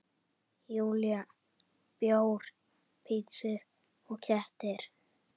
Júlía: Bjór, pitsur og kettir.